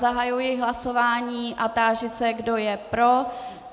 Zahajuji hlasování a táži se, kdo je pro.